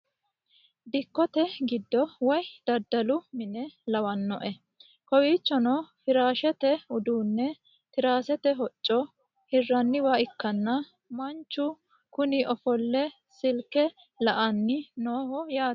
Dikkote giddo woyi daddalu mine lawanoe. Kowwichono firashshete uddune tirasete hocco hirraniwa ikkana manichu Kuni offole silikke la'ani nooho yaate